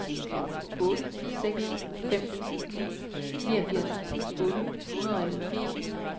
otte seks fem ni niogfirs otte hundrede og elleve